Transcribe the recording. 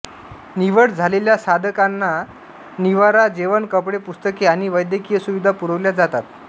निवड झालेल्या साधकांना निवारा जेवण कपडे पुस्तके आणि वैद्यकीय सुविधा पुरविल्या जातात